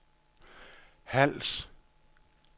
Hals